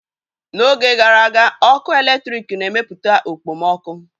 N'oge gara aga, ọkụ eletrik na-emepụta okpomọkụ.